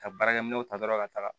Ka baarakɛminɛnw ta dɔrɔn ka taga